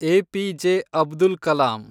APJ. Abdul Kalam